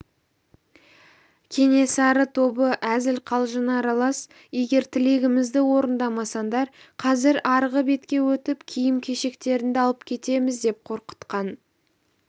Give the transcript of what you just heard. кенесары тобы әзіл-қалжыңы аралас егер тілегімізді орындамасаңдар қазір арғы бетке өтіп киім-кешектеріңді алып кетеміз деп қорқытқан